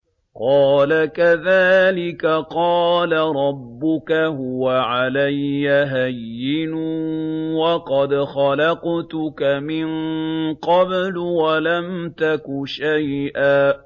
قَالَ كَذَٰلِكَ قَالَ رَبُّكَ هُوَ عَلَيَّ هَيِّنٌ وَقَدْ خَلَقْتُكَ مِن قَبْلُ وَلَمْ تَكُ شَيْئًا